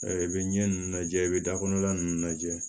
i bɛ ɲɛ ninnu lajɛ i bɛ da kɔnɔna ninnu lajɛ